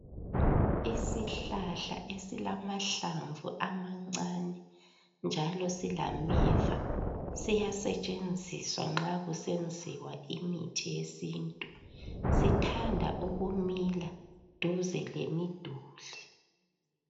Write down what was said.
Isihlahla esilamahlamvu amancane njalo silameva siyasetshenziswa nxa kusenziwa imithi yesintu sithanda ukumila duze kwemiduli.